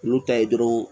N'u ta ye dɔrɔn